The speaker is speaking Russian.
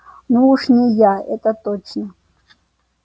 ну уж не я это точно